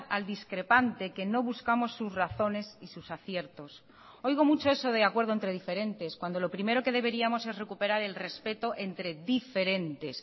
al discrepante que no buscamos sus razones y sus aciertos oigo mucho eso de acuerdo entre diferentes cuando lo primero que deberíamos es recuperar el respeto entre diferentes